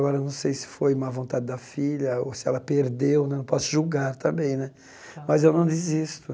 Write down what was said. Agora, não sei se foi má vontade da filha ou se ela perdeu né, não posso julgar também né, mas eu não desisto.